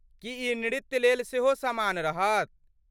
की ई नृत्यलेल सेहो समान रहत?